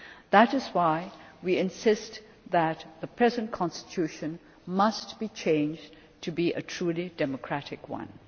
That is why we insist that the present constitution must be changed into a truly democratic one.